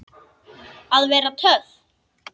Að vera töff.